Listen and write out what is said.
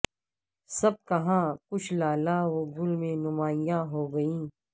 سب کہاں کچھ لالہ و گل میں نمایاں ہوگئیں